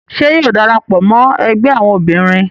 Ṣe yóò darapọ mọ ẹgbẹ awọn obinrin?